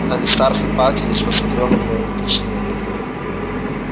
аристарх ипатьевич посмотрел на меня и уточнил